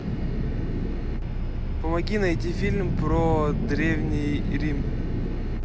помоги найти фильм про древний рим